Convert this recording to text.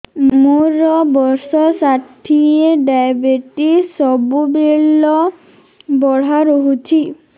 ମୋର ବର୍ଷ ଷାଠିଏ ଡାଏବେଟିସ ସବୁବେଳ ବଢ଼ା ରହୁଛି